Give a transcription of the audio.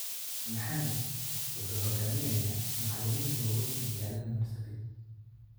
Mohamed wuxuu hogaminayaa macaliminta waweyn magalada Marsabit